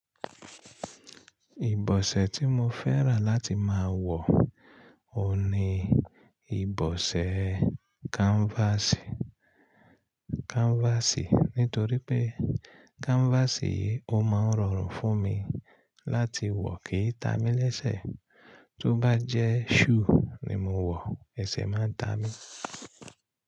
Ìbọ̀sẹ̀ tí mo fẹ́ràn láti máa wọ òhun ní ìbọ̀sẹ̀ káńfásì, káńfásì. Nítorí pé káńfásì ò máa ń rọrùn fún mi láti wọ̀ kì í ta mí lẹ́sẹ̀. Tó bá jẹ́ shùú ni mo wọ̀, ẹsẹ̀ máa ń ta mí.